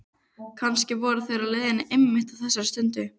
Kannski voru þeir á leiðinni einmitt á þessari stundu.